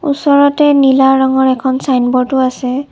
ওচৰতে নীলা ৰঙৰ এখন ছাইনব'ৰ্ডও আছে।